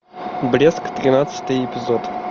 блеск тринадцатый эпизод